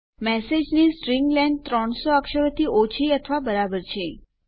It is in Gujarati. મેસેજની સ્ટ્રીંગ લેન્થ 300 અક્ષરોથી ઓછી અથવા બરાબર છે